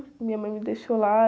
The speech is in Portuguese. Minha mãe me deixou lá.